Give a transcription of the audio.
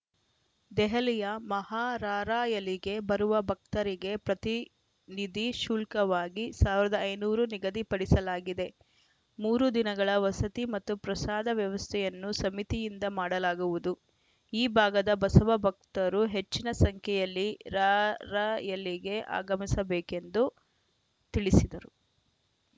ದೆಹಲಿಯ ಮಹಾರಾರ‍ಯಲಿಗೆ ಬರುವ ಭಕ್ತರಿಗೆ ಪ್ರತಿನಿಧಿ ಶುಲ್ಕವಾಗಿ ಸಾವಿರದ ಐದುನೂರು ನಿಗದಿಪಡಿಸಲಾಗಿದೆ ಮೂರು ದಿನಗಳ ವಸತಿ ಮತ್ತು ಪ್ರಸಾದ ವ್ಯವಸ್ಥೆಯನ್ನು ಸಮಿತಿಯಿಂದ ಮಾಡಲಾಗುವುದು ಈ ಭಾಗದ ಬಸವ ಭಕ್ತರು ಹೆಚ್ಚಿನ ಸಂಖ್ಯೆಯಲ್ಲಿ ರಾರ‍ಯಲಿಗೆ ಆಗಮಿಸಬೇಕೆಂದು ತಿಳಿಸಿದರು